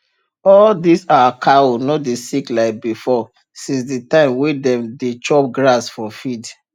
all dis our cow no dey sick like before since the time wey dem dey chop grass for field